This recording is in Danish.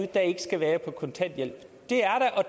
der ikke skal være på kontanthjælp